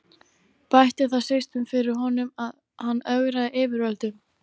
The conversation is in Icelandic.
Bætti það síst um fyrir honum, að hann ögraði yfirvöldum.